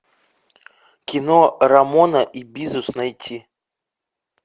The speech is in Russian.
кино рамона и бизус найти